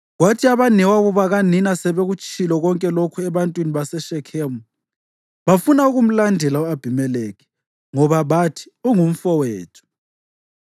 Kwathi abanewabo bakanina sebekutshilo konke lokhu ebantwini baseShekhemu, bafuna ukumlandela u-Abhimelekhi, ngoba bathi, “Ungumfowethu.”